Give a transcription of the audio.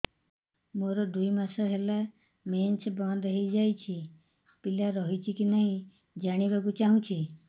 ମୋର ଦୁଇ ମାସ ହେଲା ମେନ୍ସ ବନ୍ଦ ହେଇ ଯାଇଛି ପିଲା ରହିଛି କି ନାହିଁ ଜାଣିବା କୁ ଚାହୁଁଛି